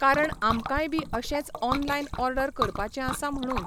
कारण आमकांय बी अशेंच ऑनलायन ऑडर करपाचें आसा म्हणून.